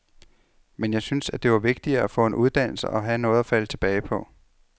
Men jeg syntes, at det var vigtigere at få en uddannelse og have noget at falde tilbage på.